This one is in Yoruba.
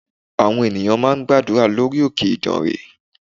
Àwọn ènìyàn ń gbàdúrà lórí òkè ìdànrè